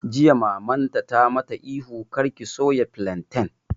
Jiya Mamarta ta mata ihu 'Kar ki soya filantan'!